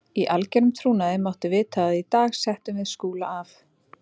Í algerum trúnaði máttu vita að í dag settum við Skúla af.